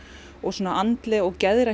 og andlegt og geðrænt